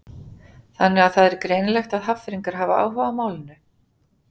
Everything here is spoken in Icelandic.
Þannig að það er greinilegt að Hafnfirðingar hafa áhuga á málinu?